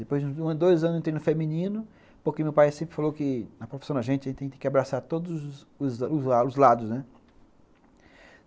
Depois de dois anos, eu entrei no feminino, porque meu pai sempre falou que na profissão da gente, a gente tem que abraçar todos os os os lados, né?